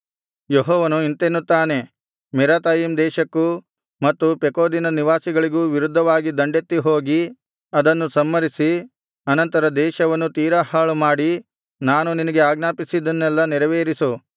ಯೆಹೋವನು ಇಂತೆನ್ನುತ್ತಾನೆ ಮೆರಾಥಯಿಮ್ ದೇಶಕ್ಕೂ ಮತ್ತು ಪೆಕೋದಿನ ನಿವಾಸಿಗಳಿಗೂ ವಿರುದ್ಧವಾಗಿ ದಂಡೆತ್ತಿ ಹೋಗಿ ಅವರನ್ನು ಸಂಹರಿಸಿ ಅನಂತರ ದೇಶವನ್ನು ತೀರಾ ಹಾಳುಮಾಡಿ ನಾನು ನಿನಗೆ ಆಜ್ಞಾಪಿಸಿದ್ದನ್ನೆಲ್ಲಾ ನೆರವೇರಿಸು